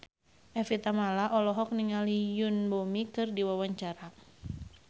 Evie Tamala olohok ningali Yoon Bomi keur diwawancara